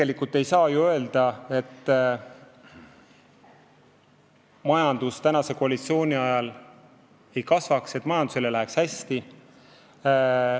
Ja ei saa ju öelda, et majandus praeguse koalitsiooni ajal ei kasva, et majandusel ei lähe hästi.